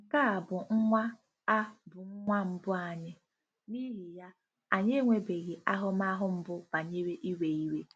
Nke a bụ nwa a bụ nwa mbụ anyị, n'ihi ya, anyị enwebeghị ahụmahụ mbụ banyere iwe iwe.